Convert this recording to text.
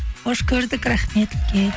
қош көрдік рахмет үлкен